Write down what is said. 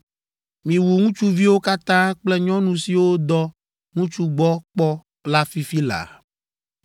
Miwu ŋutsuviwo katã kple nyɔnu siwo dɔ ŋutsu gbɔ kpɔ la fifi laa!